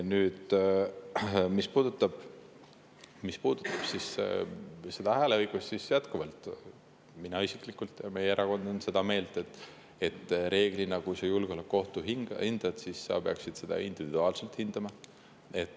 Nüüd, mis puudutab hääleõigust, siis jätkuvalt olen mina isiklikult ja meie erakond on seda meelt, et reeglina, kui sa julgeolekuohtu hindad, siis sa peaksid seda individuaalselt hindama.